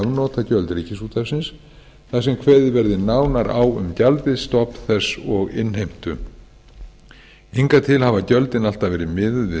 afnotagjöld ríkisútvarpsins þar sem kveðið verði nánar á um gjaldið stofn þess og innheimtu hingað til hafa gjöldin alltaf verið miðuð við